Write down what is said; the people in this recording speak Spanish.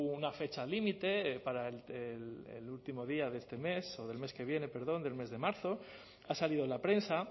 una fecha límite para el último día de este mes o del mes que viene perdón del mes de marzo ha salido en la prensa